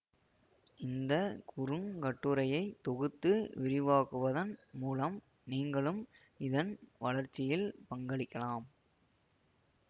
இந்த குறுங்கட்டுரையை தொகுத்து விரிவாக்குவதன் மூலம் நீங்களும் இதன் வளர்ச்சியில் பங்களிக்கலாம்